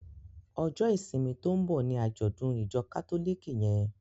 Ọjọ́ ìsinmi to ń bọ́ ní àjọ́dùn ìjọ kátólìkì yẹn.